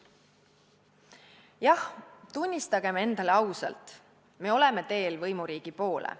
Jah, tunnistagem endale ausalt: me oleme teel võimuriigi poole.